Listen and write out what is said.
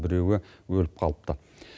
біреуі өліп қалыпты